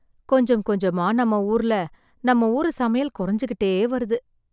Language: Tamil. கொஞ்சம் கொஞ்சமா நம்ம ஊர்ல நம்ம ஊரு சமையல் குறைஞ்சிக்கிட்டே வருது